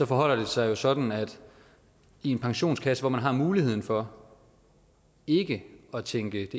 forholder sig jo sådan i en pensionskasse hvor man har muligheden for ikke at tænke